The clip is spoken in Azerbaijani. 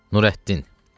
Nurəddin.